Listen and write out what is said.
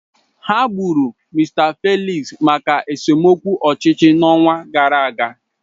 Ha gburu Mr Felix maka esemokwu ọchịchị n'ọnwa gara aga.